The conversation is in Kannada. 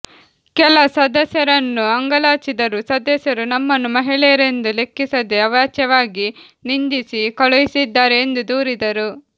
ಕೆಲ ಸದಸ್ಯರನ್ನು ಅಂಗಾಲಾಚಿದರೂ ಸದಸ್ಯರು ನಮ್ಮನ್ನು ಮಹಿಳೆಯರೆಂದು ಲೆಕ್ಕಿಸದೆ ಅವಾಚ್ಯವಾಗಿ ನಿಂದಿಸಿ ಕಳುಹಿಸಿದ್ದಾರೆ ಎಂದು ದೂರಿದರು